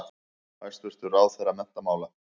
Hæstvirtur ráðherra menntamála.